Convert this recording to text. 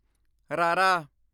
ਰਾਰਾ